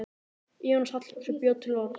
Jónas Hallgrímsson bjó til orð.